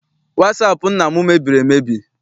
Wasaapụ nna m mebiri emebi.